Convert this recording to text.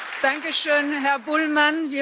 Danke schön, Herr Bullmann!